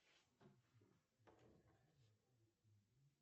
джой поставь пожалуйста будильник